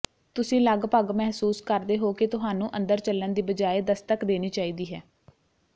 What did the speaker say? ਤੁਸੀਂ ਲਗਭਗ ਮਹਿਸੂਸ ਕਰਦੇ ਹੋ ਕਿ ਤੁਹਾਨੂੰ ਅੰਦਰ ਚੱਲਣ ਦੀ ਬਜਾਏ ਦਸਤਕ ਦੇਣੀ ਚਾਹੀਦੀ ਹੈ